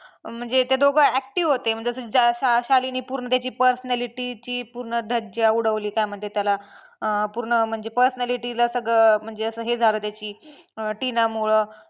म्हणजे ते दोघं active होते म्हणजे असं शालीनने पूर्ण त्याची personality ची पूर्ण धज्जा उडवली काय म्हणतात त्याला अं पूर्ण म्हणजे personality ला सगळं म्हणजे असं हे झालं त्याची अं टिनामुळं